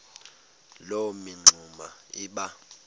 loo mingxuma iba